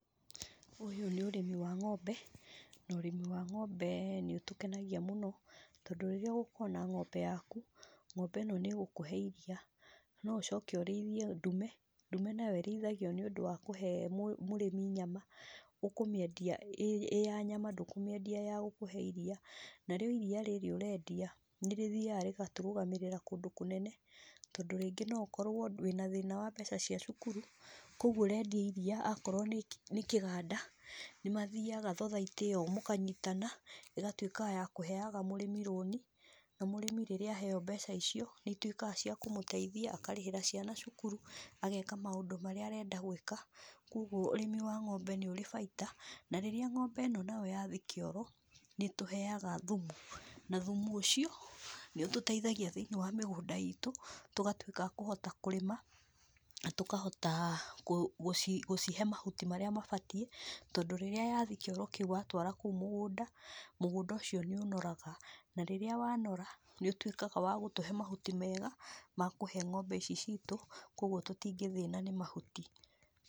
Ũyũ nĩ ũrĩmi wa ng'ombe, na ũrĩmi wa ng'ombe nĩũtũkenagia mũno, tondũ rĩrĩa ũgũkorwo na ng'ombe yaku, ng'ombe ĩno nĩgũkũhe iria, nũcoke ũrĩithie ndume, ndume nayo ĩrĩithagio nĩũndũ wa kũhe mũrĩmi nyama, ũkũmĩendia ĩ ya nyama ndũkũmĩendia ĩ ya gũkũhe iria, narĩo iria rĩrĩa ũrendia, nĩrĩthiaga, rĩgatũrũgamĩrĩra kũndũ mũnene, tondũ rĩngĩ noũkorwo wĩna thĩna wa mbeca cia cukuru, koguo ũrendia iria akorwo nĩ kĩganda, nĩmathiaga thathaitĩ ĩyo mũkanyitana, ĩgatwĩka ya kũheaga mũrĩmi rũni, na mũrĩmi rĩrĩa aheap mbeca icio, nĩĩitwĩkaga cia kũmũteithia akarĩhĩra ciana cukuru, ageka maũndũ marĩa arenda gwĩkwa koguo ũrĩmi wa ng'ombe nĩũrĩ bainda, na rĩrĩa ng'ombe ĩno yathi kĩoro, nĩtũheaga thumu, na thimu ũcio, nĩũtũteithagia thĩinĩ wa mĩgunda itũ tũgatwĩka a kũhota kurĩa, na tũkahota kũ gũcihe mahuti marĩa mabatiĩ tondũ rĩrĩa yathi kĩoro kĩu watwara kũu mũgũnda, mũgũnda ũcio nĩũnoraga, na rĩrĩa wanpra, nĩũtwĩkaga wa gũtũhe mahuti mega makũhe ng'ombe ici citũ koguo tũtingĩthĩna nĩ mahuti.